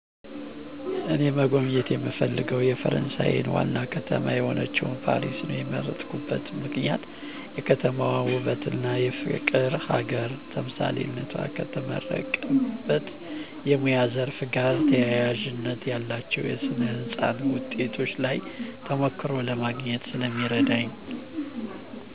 እኔ መጎብኘት የምፈልገው የፈረሳየን ዋና ከተማ የሆነችውን ፓሪስ ነው የመረጥኩበት ምክንያት የከተማዋ ውበትና የፍቅር ሀገር ተምሳሌትነቷ። ከተመረቁበት የሙያ ዘርፍ ጋር ተያያዥነት ያላቸውን የስነ ህንፃ ውጤቶች ላይ ተሞክሮ ለማግኘት ስለሚረዳኝ።